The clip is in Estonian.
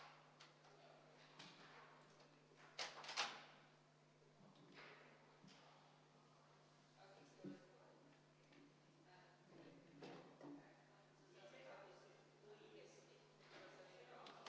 Palun kontrollida hääletamiskaste ja seda, et turvaplommid hääletamiskastidel ei oleks rikutud.